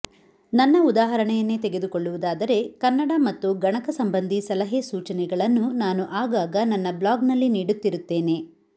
ನನ್ನ ಉದಾಹರಣೆಯನ್ನೇ ತೆಗೆದುಕೊಳ್ಳುವುದಾದರೆ ಕನ್ನಡ ಮತ್ತು ಗಣಕ ಸಂಬಂಧಿ ಸಲಹೆ ಸೂಚನೆಗಳನ್ನು ನಾನು ಆಗಾಗ ನನ್ನ ಬ್ಲಾಗ್ನಲ್ಲಿ ನೀಡುತ್ತಿರುತ್ತೇನೆ